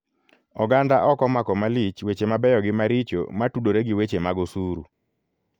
Oganda ok omako malich weche mabeyo gi maricho matudore gi weche mag osuru.